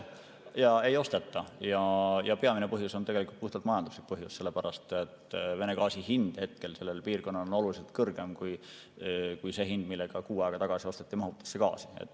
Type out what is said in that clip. Enam ei osteta ja peamine põhjus on puhtalt majanduslik põhjus, sellepärast et Vene gaasi hind hetkel sellele piirkonnale on oluliselt kõrgem kui see hind, millega kuu aega tagasi osteti mahutisse gaasi.